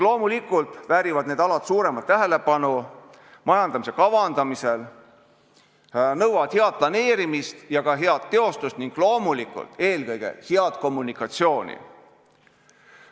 Loomulikult väärivad need alad suuremat tähelepanu majandamise kavandamisel, nõuavad head planeerimist ja ka head teostust ning loomulikult eelkõige head kommunikatsiooni.